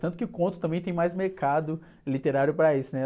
Tanto que o conto também tem mais mercado literário para isso, né?